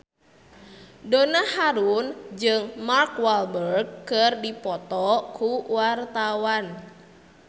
Donna Harun jeung Mark Walberg keur dipoto ku wartawan